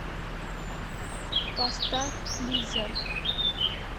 поставь лизер